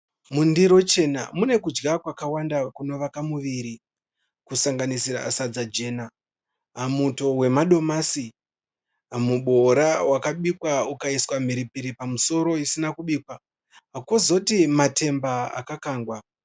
Mundiro chena mune kudya kwakawanda kunovaka muviri. Kusanganisira sadza jena, muto wemadomasi, mubowora wakabikwa ukaiswa mhiripiri pamusoro isina kubikwa kwozoti matemba akakangwa.